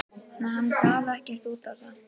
En hann gaf ekkert út á það.